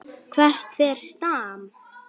Hvert fer Stam?